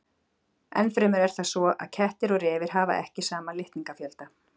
Ennfremur er það svo að kettir og refir hafa ekki sama litningafjölda.